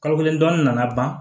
Kalo kelen dɔɔnin nana ban